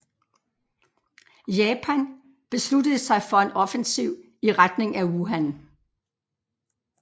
Japan besluttede sig for en offensiv i retning af Wuhan